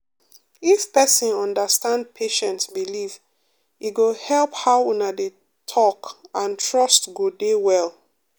if person understand patient belief e go help how una dey talk and trust go dey well.